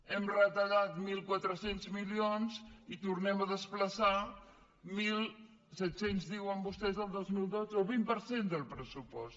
hem retallat mil quatre cents milions i tornem a desplaçar mil set cents diuen vostès el dos mil dotze el vint per cent del pressupost